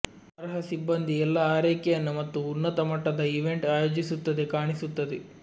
ಅರ್ಹ ಸಿಬ್ಬಂದಿ ಎಲ್ಲಾ ಆರೈಕೆಯನ್ನು ಮತ್ತು ಉನ್ನತ ಮಟ್ಟದ ಈವೆಂಟ್ ಆಯೋಜಿಸುತ್ತದೆ ಕಾಣಿಸುತ್ತದೆ